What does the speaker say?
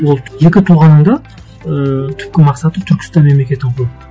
ол екі тұлғаның да ыыы түпкі мақсаты түркістан мемлекетін құру